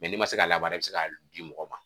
Mɛ n'i ma se ka labaara i be se ka di mɔgɔw ma